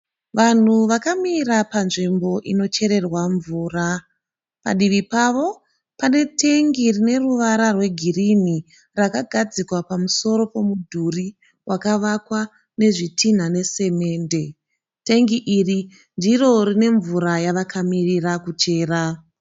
Vanhu vakamira panzvimbo inochererwa mvura. Padivi pavo pane tengi rineruvara rwegirinhi rakagadzikwa pamusoro pomudhuri wakavakwa nezvitinha nesemende, Tengi iri ndiro rinemvura yavakamirira kuchera.